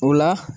O la